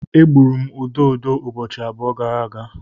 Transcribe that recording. Egburu m ududo ụbọchị abụọ gara aga.